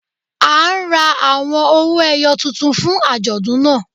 A ń rà awọn ọwọ-èyò tuntun fún ajọdún náà.